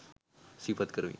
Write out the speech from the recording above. සිහිපත් කරමි